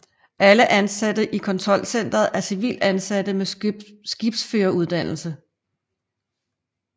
Alle ansatte i kontrolcenteret er civilt ansatte med skibsføreruddannelse